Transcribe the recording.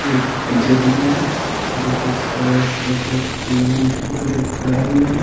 एक टीचर दिख रहे हैं जो कि सारे बच्चों की अंगूठी पकड़े पकड़ाए हुए हैं।